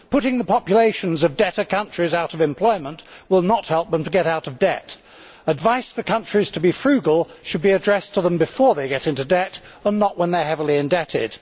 Putting the populations of debtor countries out of employment will not help them to get out of debt. Advice for countries to be frugal should be addressed to them before they get into debt and not when they are heavily indebted.